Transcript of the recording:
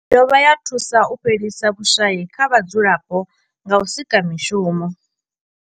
I dovha ya thusa u fhelisa vhushayi kha vhadzulapo nga u sika mishumo.